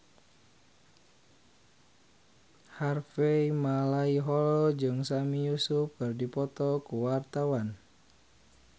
Harvey Malaiholo jeung Sami Yusuf keur dipoto ku wartawan